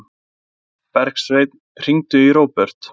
Bergsveinn, hringdu í Róbert.